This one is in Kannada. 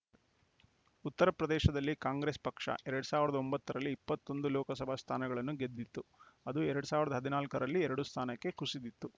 ಉತ್ತರಪ್ರದೇಶದಲ್ಲಿ ಕಾಂಗ್ರೆಸ್‌ ಪಕ್ಷ ಎರಡ್ ಸಾವಿರದ ಒಂಬತ್ತರಲ್ಲಿ ಇಪ್ಪತ್ತ್ ಒಂದು ಲೋಕಸಭಾ ಸ್ಥಾನಗಳನ್ನು ಗೆದ್ದಿತ್ತು ಅದು ಎರಡ್ ಸಾವಿರದ ಹದ್ ನಾಲ್ಕರಲ್ಲಿ ಎರಡು ಸ್ಥಾನಕ್ಕೆ ಕುಸಿದಿತ್ತು